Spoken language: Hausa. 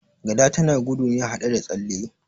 Gada tana gudu ne haɗe da tsalle